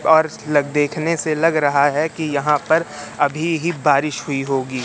और देखने से लग रहा है की यहां पर अभी ही बारिश हुई होगी।